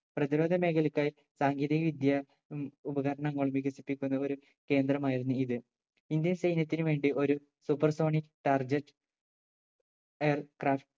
പ്രധിരോധ മേഖലയെക്കാൾ സാങ്കേതിക വിദ്യ ഉം ഉപകരണങ്ങൾ വികസിപ്പിക്കുന്ന ഒരു കേന്ദ്രമായിരുന്നു ഇത്. ഇന്ത്യൻ സൈന്യത്തിന് വേണ്ടി ഒരു supersonic target aircraft